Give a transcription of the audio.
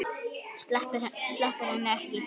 Sleppir henni ekki.